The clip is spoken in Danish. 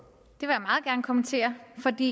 kommentere